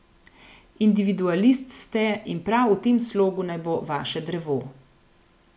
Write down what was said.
Individualist ste in prav v tem slogu naj bo vaše drevo.